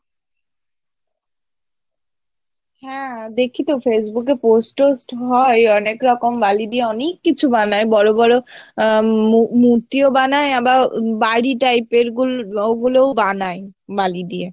হ্যাঁ দেখি তো Facebook এ post টোস্ট হয় অনেকরকম বালি দিয়ে অনেক কিছু বানাই বড়ো বড়ো আহ উম মূ~মূর্তিও বানাই আবার বাড়ি type এর গুলো ওগুলোও বানাই বালি দিয়ে